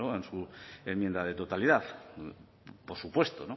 en su enmienda de totalidad por supuesto